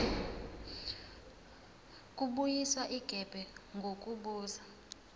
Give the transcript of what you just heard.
kubuyiswa igebe ngokubuza